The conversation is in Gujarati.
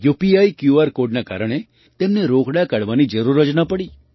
યુપીઆઈ ક્યૂઆર કૉડના કારણે તેમને રોકડા કાઢવાની જરૂર જ ન પડી